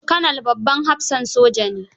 Kanal babban hafsan soja ne.